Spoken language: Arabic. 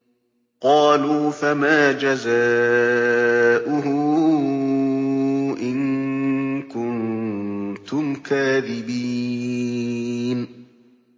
قَالُوا فَمَا جَزَاؤُهُ إِن كُنتُمْ كَاذِبِينَ